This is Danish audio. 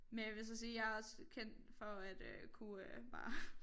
Men jeg vil så sige jeg er også kendt for at øh kunne øh bare